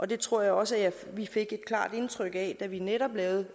det tror jeg også vi fik et klart indtryk af da vi netop lavede